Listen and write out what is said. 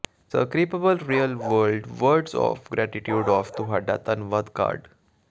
ਸਕ੍ਰਿਪਬਲ real world words of gratitude of ਤੁਹਾਡਾ ਧੰਨਵਾਦ card